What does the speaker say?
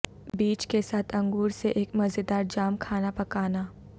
بیج کے ساتھ انگور سے ایک مزیدار جام کھانا پکانا